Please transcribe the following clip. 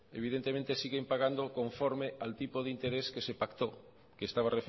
evidentemente siguen pagando conforme al tipo de interés que se pactó que estaba